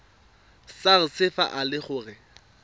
sars fa e le gore